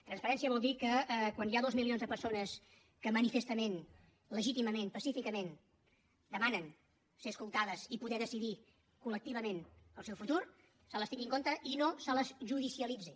transparència vol dir que quan hi ha dos milions de persones que manifestament legítimament pacíficament demanen ser escoltades i poder decidir col·lectivament el seu futur se les tingui en compte i no se les judicialitzi